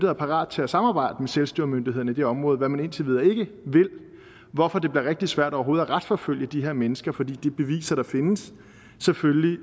er parate til at samarbejde med selvstyremyndighederne i de områder hvad man indtil videre ikke vil hvorfor det rigtig svært overhovedet at retsforfølge de her mennesker fordi de beviser der findes selvfølgelig